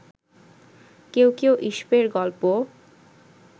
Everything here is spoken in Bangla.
কেউ কেউ ঈশপের গল্প